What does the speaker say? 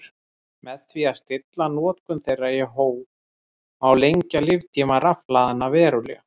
Með því að stilla notkun þeirra í hóf má lengja líftíma rafhlaðanna verulega.